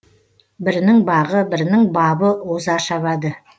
бірінің бағы бірінің бабы оза шабады